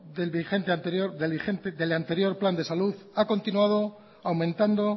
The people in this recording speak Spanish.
del anterior plan de salud ha continuado aumentando